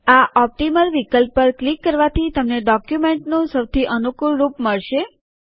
આ ઓપટીમલ વિકલ્પ પર ક્લિક કરવાથી તમને ડોક્યુમેન્ટનું સૌથી અનુકૂળ રૂપ મળશે